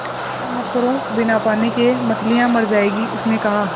ऐसा मत करो बिना पानी के मछलियाँ मर जाएँगी उसने कहा